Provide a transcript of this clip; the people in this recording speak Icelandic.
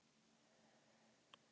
Hvað gerðirðu við hann!